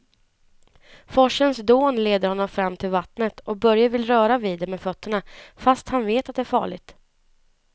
Forsens dån leder honom fram till vattnet och Börje vill röra vid det med fötterna, fast han vet att det är farligt.